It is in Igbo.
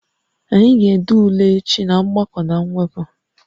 Anyị ga-ede ule echi na mgbakọ na mwepụ